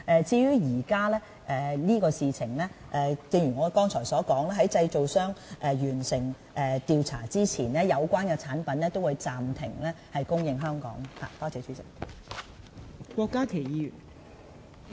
至於現時此事，正如我剛才所說，在製造商完成調查之前，有關的產品也會暫停在香港供應。